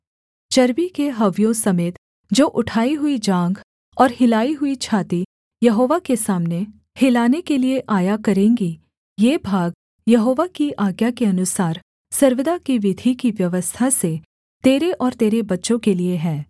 चर्बी के हव्यों समेत जो उठाई हुई जाँघ और हिलाई हुई छाती यहोवा के सामने हिलाने के लिये आया करेंगी ये भाग यहोवा की आज्ञा के अनुसार सर्वदा की विधि की व्यवस्था से तेरे और तेरे बच्चों के लिये हैं